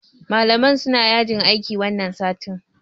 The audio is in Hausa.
Malaman suna yajin aiki wannan satin.